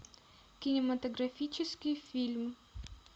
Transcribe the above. кинематографический фильм